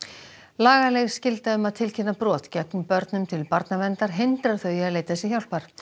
lagaleg skylda um að tilkynna brot gegn börnum til barnaverndar hindrar þau í að leita sér hjálpar